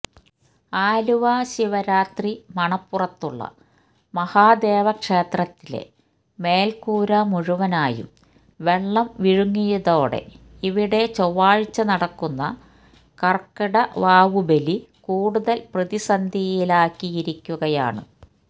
ആലുവ ശിവരാത്രി മണപ്പുറത്തുള്ള മഹാദേവക്ഷേത്രത്തിലെ മേല്കുരമുഴുവനായും വെള്ളം വിഴുങ്ങിയതൊടെ ഇവിടെ ചൊവ്വാഴ്ച നടക്കുന്ന കര്ക്കിടവാവുബലി കൂടുതല് പ്രതിസന്ധിയിലാക്കിയിരിക്കുകയാണ്